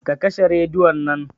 Ka kashe rediyon nan